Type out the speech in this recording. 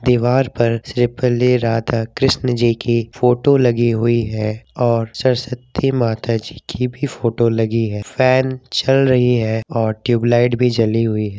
दीबार पर श्री पल्लवी राधा-कृष्ण जी की फोटो लगी हुई है और सरस्वती माता जी की भी फोटो लगी है फैन चल रही है और ट्यूब लाइट भी जली हुई हैं।